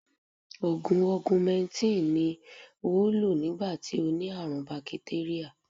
Ògùn Ọgumẹntìn ni ó lò nígbà tí ó ní àrùn bakitéríà